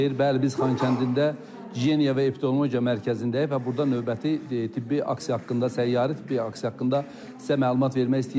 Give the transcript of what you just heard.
Bəli, biz Xankəndidə gigiyena və epidemiologiya mərkəzindəyik və burda növbəti tibbi aksiya haqqında, səyyari tibbi aksiya haqqında sizə məlumat vermək istəyirik.